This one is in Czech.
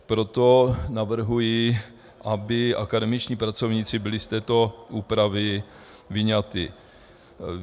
Proto navrhuji, aby akademičtí pracovníci byli z této úpravy vyňati.